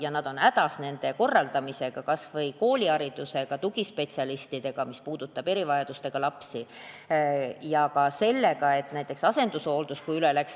Ollakse hädas töö korraldamisega, kas või koolihariduse andmise või tugispetsialistide palkamisega, mis puudutab erivajadustega lapsi, samuti näiteks asendushooldusega.